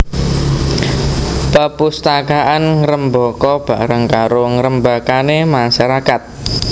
Pepustakaan ngrembaka bareng karo ngrembakané masyarakat